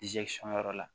yɔrɔ la